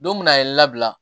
Don min a ye n labila